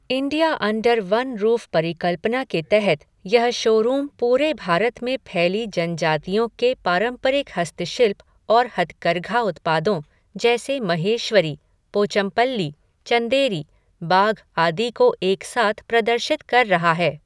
India under one roof परिकल्पना के तहत यह शोरूम पूरे भारत में फैली जनजातियों के पारंपरिक हस्तशिल्प और हथकरघा उत्पादों जैसे महेश्वरी, पोचमपल्ली, चंदेरी, बाघ आदि को एक साथ प्रदर्शित कर रहा है।